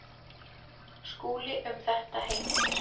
Skúli um þetta heimildir.